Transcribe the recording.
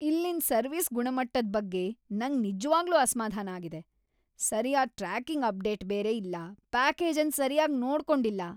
ಇಲ್ಲಿನ್ ಸರ್ವಿಸ್ ಗುಣಮಟ್ಟದ್ ಬಗ್ಗೆ ನಂಗ್ ನಿಜ್ವಾಗ್ಲೂ ಅಸ್ಮಾಧಾನ ಆಗಿದೆ. ಸರ್ಯಾದ ಟ್ರ್ಯಾಕಿಂಗ್ ಅಪ್ಡೇಟ್ ಬೇರೆ ಇಲ್ಲ ಪ್ಯಾಕೇಜ್ ಅನ್ ಸರ್ಯಾಗಿ ನೋಡ್ಕೊಂಡಿಲ್ಲ.